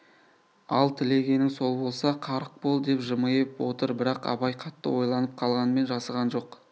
ал тілегенің сол болса қарық бол деп жымиып отыр бірақ абай қатты ойланып қалғанмен жасыған жоқ